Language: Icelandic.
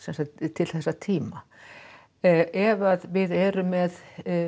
til þessa tíma ef að við erum með